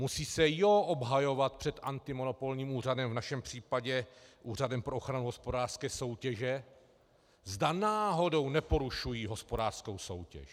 Musí se jó obhajovat před antimonopolním úřadem, v našem případě Úřadem pro ochranu hospodářské soutěže, zda náhodou neporušují hospodářskou soutěž.